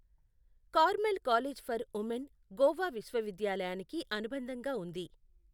Carmel College for Women Goa విశ్వవిద్యాలయానికి అనుబంధంగా ఉంది.